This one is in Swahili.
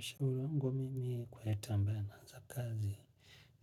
Shauli langu wa mimi kwa et ambaya naanza kazi